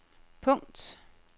punkt